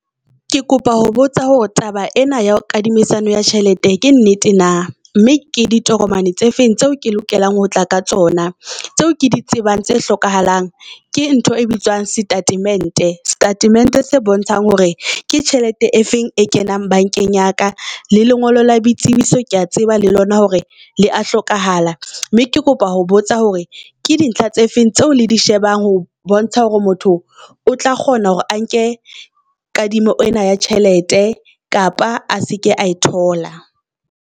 Ke kopa ho botsa hore taba ena ya kadimisano ya tjhelete ke nnete na, mme ke ditokomane tse feng tseo ke lokelang ho tla ka tsona. Tseo ke di tsebang, tse hlokahalang ke ntho e bitswang statement, statement se bontshang hore ke tjhelete e feng e kenang bank-eng ya ka. Le lengolo la boitsebiso kea tseba le lona hore le a hlokahala mme ke kopa ho botsa hore ke dintlha tse feng tseo le di shebang ho bontsha hore motho o tla kgona hore a nke kadimo ena ya tjhelete kapa ase ke a e thola.